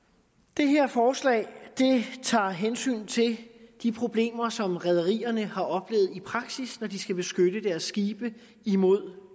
det her forslag tager hensyn til de problemer som rederierne har oplevet i praksis når de skal beskytte deres skibe imod